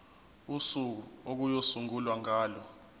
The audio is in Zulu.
usuku okuyosungulwa ngalo